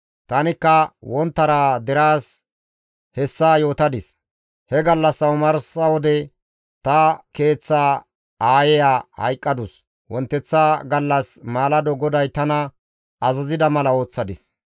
Tanikka wonttara deraas hessa yootadis; he gallassa omarsa wode ta keeththa aayeya hayqqadus; wonteththa gallas maalado GODAY tana azazida mala ooththadis.